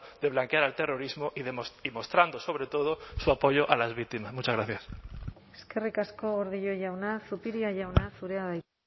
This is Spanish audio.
de blanquear al terrorismo y mostrando sobre todo su apoyo a las víctimas muchas gracias eskerrik asko gordillo jauna zupiria jauna zurea da hitza